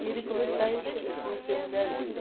ele começ daí co fui ser mulher dele.